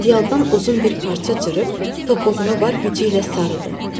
Ədyaldan uzun bir parça cırıb topuğunu var gücü ilə sarıdı.